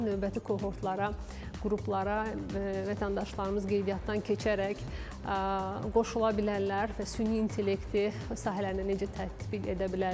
Növbəti kohortlara, qruplara, vətəndaşlarımız qeydiyyatdan keçərək qoşula bilərlər və süni intellekti sahələrini necə tətbiq edə bilərlər?